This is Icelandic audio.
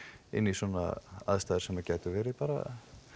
inn í svona aðstæður sem gætu verið bara